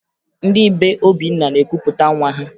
Ndị be Obinna na-ekupụta nwa ha